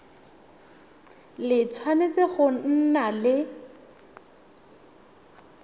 le tshwanetse go nna le